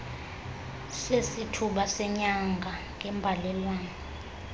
sesithuba senyanga ngembalelwano